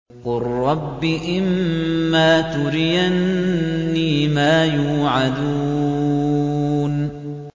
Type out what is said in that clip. قُل رَّبِّ إِمَّا تُرِيَنِّي مَا يُوعَدُونَ